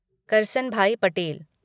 Karsanbhai Patel